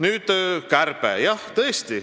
Nüüd kärpest.